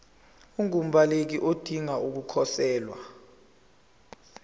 ungumbaleki odinge ukukhosela